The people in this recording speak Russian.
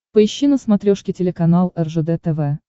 поищи на смотрешке телеканал ржд тв